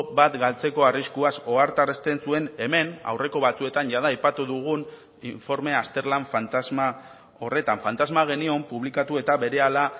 bat galtzeko arriskuaz ohartarazten zuen hemen aurreko batzuetan jada aipatu dugun informe azterlan fantasma horretan fantasma genion publikatu eta berehala